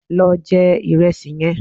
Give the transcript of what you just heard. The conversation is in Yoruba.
Lo je ìrẹsì yẹn